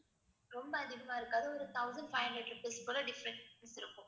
ரொம்ப அதிகமா இருக்காது ஒரு thousand five hundred rupees போல difference இருக்கும்